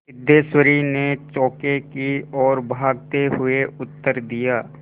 सिद्धेश्वरी ने चौके की ओर भागते हुए उत्तर दिया